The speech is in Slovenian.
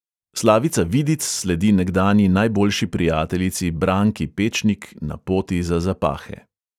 Slavica vidic sledi nekdanji najboljši prijateljici branki pečnik na poti za zapahe.